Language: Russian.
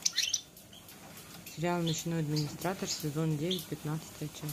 сериал ночной администратор сезон девять пятнадцатая часть